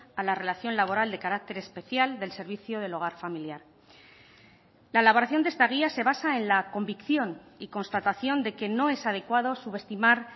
a la relación laboral de carácter especial del servicio del hogar familiar la elaboración de esta guía se basa en la convicción y constatación de que no es adecuado subestimar